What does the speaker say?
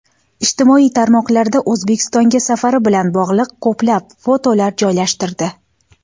Ijtimoiy tarmoqlarda O‘zbekistonga safari bilan bog‘liq ko‘plab fotolar joylashtirdi.